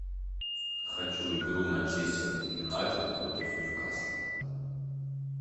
хочу игру манчестер юнайтед против ньюкасла